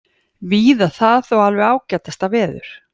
Víða það þó alveg ágætasta veður